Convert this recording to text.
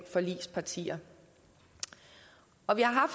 forligspartier og vi har